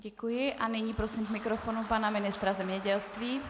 Děkuji a nyní prosím k mikrofonu pana ministra zemědělství.